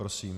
Prosím.